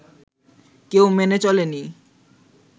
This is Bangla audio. কেউ মেনে চলেনি